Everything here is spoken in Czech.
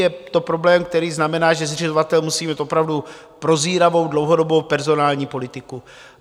Je to problém, který znamená, že zřizovatel musí mít opravdu prozíravou, dlouhodobou personální politiku.